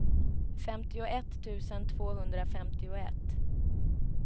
femtioett tusen tvåhundrafemtioett